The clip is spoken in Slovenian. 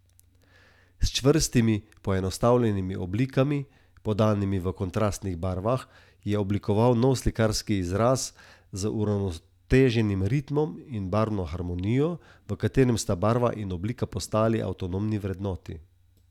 S čvrstimi, poenostavljenimi oblikami, podanimi v kontrastnih barvah, je oblikoval nov slikarski izraz z uravnoteženim ritmom in barvno harmonijo, v katerem sta barva in oblika postali avtonomni vrednoti.